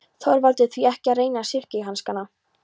ÞORVALDUR: Því ekki að reyna silkihanskana.